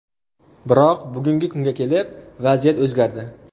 Biroq, bugungi kunga kelib vaziyat o‘zgardi.